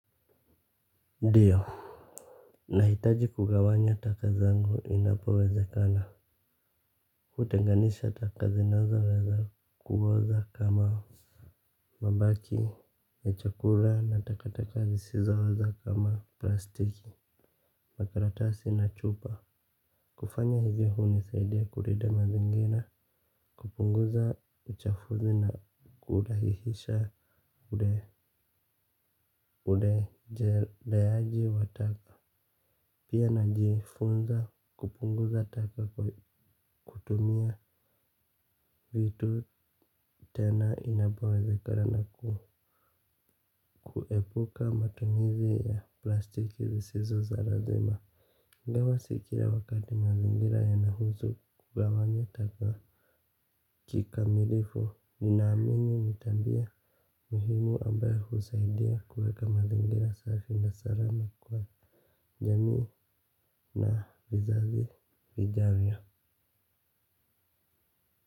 Ndiyo, nahitaji kugawanya taka zangu inapowezekana. Kutenganisha taka zinazo weza kuoza kama mabaki ya chakula na takataka zisizooza kama plastiki. Makaratasi na chupa. Kufanya hizi hunisaidia kulinda mazingira. Kupunguza uchafuzi na kudahihisha ude udejeleaji wataka pia najifunza kupunguza taka kutumia vitu tena inapowezekana kuepuka matumizi ya plastiki zisizo za lazima ingawa si kila wakati mazingira yanahusu kugawanya taka kikamilifu ninaamini nitambia muhimu ambayo husaidia kuweka mazingira safi na salama kwa jamii na vizazi vijalia.